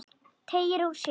Teygir úr sér.